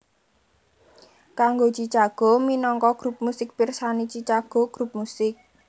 Kanggo Chicago minangka grup musik pirsani Chicago grup musik